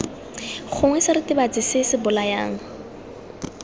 gongwe seritibatsi se se bolayang